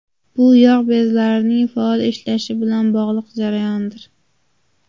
Bu yog‘ bezlarining faol ishlashi bilan bog‘liq jarayondir.